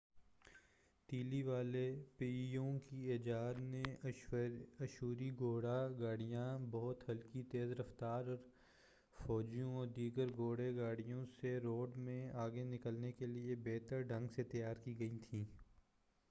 تیلی والے پہیوں کی ایجاد نے اشوری گھوڑا گاڑیاں بہت ہلکی تیز رفتار اور فوجیوں و دیگر گھوڑا گاڑیوں سے دوڑ میں آگے نکلنے کیلئے بہتر ڈھنگ سے تیار کی گئیں تھیں